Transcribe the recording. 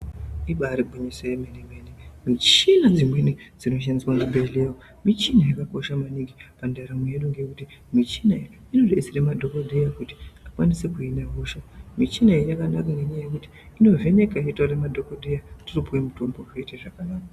Ibari gwinyiso yemene-mene. Michina dzimweni dzinoshandiswa muzvibhehlera michina yakakosha maningi pandaramo yedu ngekuti michina iyi inodetsera madhokodheya kuti akwanise kuhina hosha, michina iyi yakanaka ngenyaya yekuti inovheneka yotaurira madhokodheya totopuwe mutombo zvoita zvakanaka.